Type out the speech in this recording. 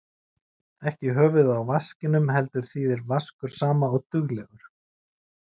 Ekki í höfuðið á vaskinum heldur þýðir vaskur sama og duglegur.